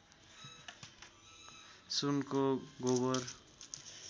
सुनको गोबर